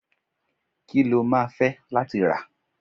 ki lo ma fe latí ra?